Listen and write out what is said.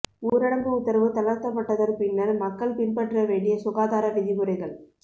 ஊரடங்கு உத்தரவு தளர்த்தப்பட்டதன் பின்னர் மக்கள் பின்பற்ற வேண்டிய சுகாதார விதிமுறைகள்